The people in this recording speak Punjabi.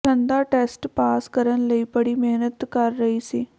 ਠੰ ਦਾ ਟੈੱਸਟ ਪਾਸ ਕਰਨ ਲਈ ਬੜੀ ਮਿਹਨਤ ਕਰ ਰਹੀ ਸੀ